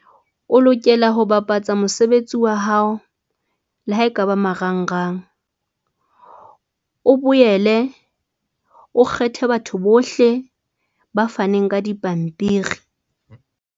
O lokela ho bapatsa mosebetsi wa hao. Le ha ekaba marangrang, o boele o kgethe batho bohle ba faneng ka dipampiri.